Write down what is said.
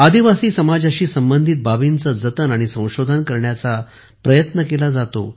आदिवासी समाजाशी संबंधित बाबींचे जतन आणि संशोधन करण्याचाही प्रयत्न केला जातो